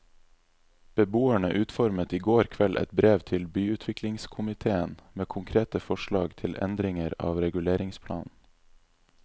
Beboerne utformet i går kveld et brev til byutviklingskomitéen med konkrete forslag til endringer av reguleringsplanen.